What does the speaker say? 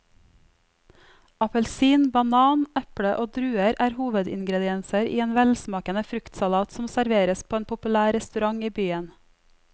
Appelsin, banan, eple og druer er hovedingredienser i en velsmakende fruktsalat som serveres på en populær restaurant i byen.